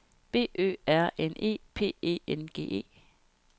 B Ø R N E P E N G E